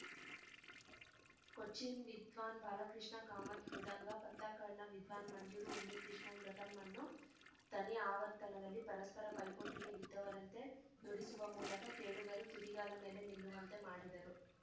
ಕೊಚ್ಚಿನ್‌ ವಿದ್ವಾನ್‌ ಬಾಲಕೃಷ್ಣ ಕಾಮತ್‌ ಮೃದಂಗ ಪತ್ತಕ್ಕಾಡ್‌ನ ವಿದ್ವಾನ್‌ ಮಂಜೂರು ಉನ್ನಿಕೃಷ್ಣನ್‌ ಘಟಂ ಅನ್ನು ತನಿ ಆವರ್ತನದಲ್ಲಿ ಪರಸ್ಪರ ಪೈಪೋಟಿಗೆ ಬಿದ್ದವರಂತೆ ನುಡಿಸುವ ಮೂಲಕ ಕೇಳುಗರು ತುದಿಗಾಲ ಮೇಲೆ ನಿಲ್ಲುವಂತೆ ಮಾಡಿದರು